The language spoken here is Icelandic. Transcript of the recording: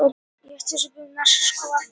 Sigurunn, hvernig er veðrið í dag?